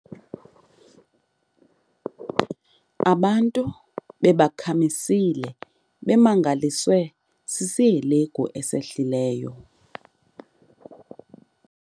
Abantu bebakhamisile bemangaliswe sisihelegu esehlileyo.